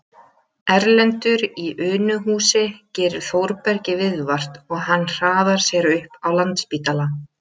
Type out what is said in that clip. Erlendur í Unuhúsi gerir Þórbergi viðvart og hann hraðar sér upp á Landspítala